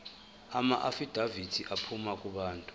amaafidavithi aphuma kubantu